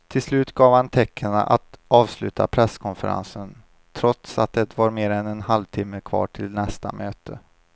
Till slut gav han tecken att avsluta presskonferensen trots att det var mer än en halvtimme kvar till nästa möte.